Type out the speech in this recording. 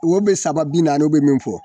be saba bi naani o be min fɔ